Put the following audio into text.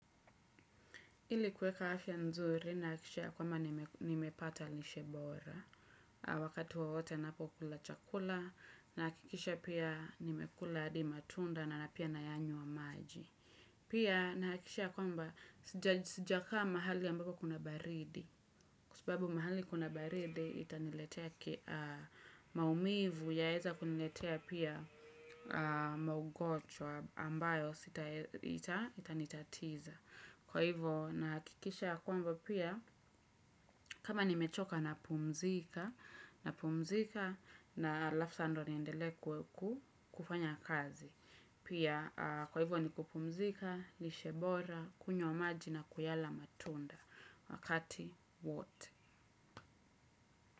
Ili kuweka afya nzuri nahakikisha yakwamba nimepata lishe bora. Wakati wowote ninapo kula chakula na hakikisha pia nimekula hadi matunda na na pia nayanywa maji. Pia na nahakikisha yakwamba sijakaa mahali ambapo kuna baridi. Kwa sababu mahali kuna baridi itaniletea maumivu yaweza kuniletea pia maugonjwa ambayo itanitatiza. Kwa hivyo nahakikisha yakwamba pia kama nimechoka napumzika na halafu sa ndio niendelee kufanya kazi. Pia kwa hivyo ni kupumzika, lishebora, kunywa maji na kuyala matunda wakati wote.